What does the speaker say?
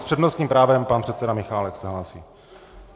S přednostním právem pan předseda Michálek se hlásí.